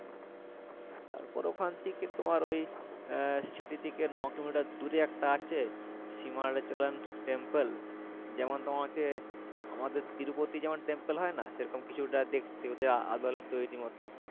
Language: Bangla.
তারপর ওখান থেকে তোমার ওই city থেকে নয় কিলোমিটার দূরে একটা আছে সিমাচলন temple যেমন তোমাকে আমাদের তিরুপতি যেমন temple হয় না সেরকম কিছুটা দেখতে ওদের আদলে তৈরি মতো